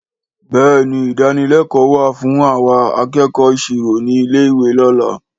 Béèni ìdánilékòó wa fún àwa akẹẹkọ ìṣirò ni ilé ìwé lóla